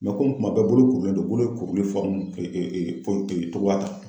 kuma bɛɛ bolo kurulen don bolo ye kuruli cogoya ta.